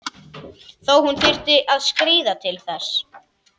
Þó hún þyrfti að skríða til þess.